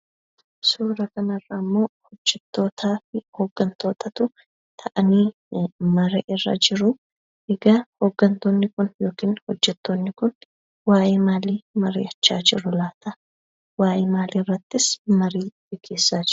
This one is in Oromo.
Suura kanarrammoo hojjettootaa fi hooggantootatu taa'anii marii irra jiruu. Egaa hooggantoonni kun yookiin hojjettoonni kun waa'ee maalii mari'achaa jiru laata? Waa'ee maaliirrattis marii geggeessaa jiru?